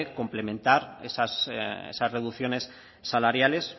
complementar esas reducciones salariales